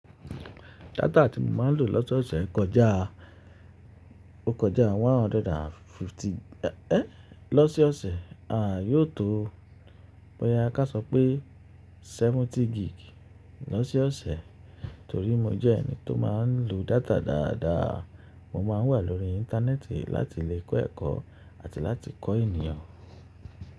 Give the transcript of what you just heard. Data tí mo máa ń lò lọ́sẹ̀ ọ̀ṣẹ̀ kọjá, ó kọjá 150. Lọ́ se ọ̀ṣẹ̀, a yóò tó bóyá ká sọ pé 70 gig lọ́sẹ̀ ọ̀ṣẹ̀, torí mo jẹ́ ẹni tó máa ń lo data dáadáa. Mo máa ń wà lórí Íńtánẹ́ẹ̀tì láti lè kọ́ ẹ̀kọ́ àti láti kọ́ ènìyàn.